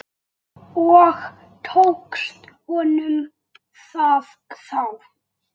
Og tókst honum það þá?